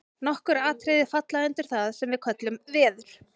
nokkur atriði falla undir það sem við köllum „veður“